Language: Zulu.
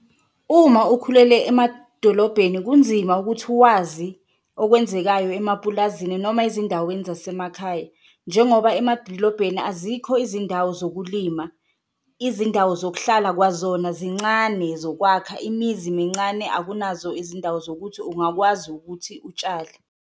Uma ukhulele emadolobheni kunzima ukuthi uwazi okwenzekayo emapulazini noma ezindaweni zasemakhaya njengoba emadolobheni azikho izindawo zokulima. Izindawo zokuhlala kwazona zincane zokwakha imizi mincane, akunazo izindawo zokuthi ungakwazi ukuthi utshale.